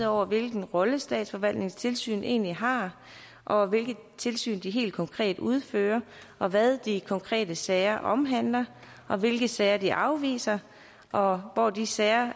over hvilken rolle statsforvaltningens tilsyn egentlig har og hvilket tilsyn de helt konkret udfører og hvad de konkrete sager omhandler og hvilke sager de afviser og hvor de sager